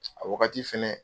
A wagati fana